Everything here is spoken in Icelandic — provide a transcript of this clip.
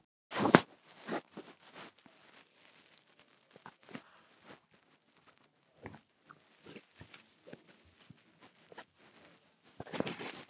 Kristján Már Unnarsson: En hvers vegna náðist ekki saman?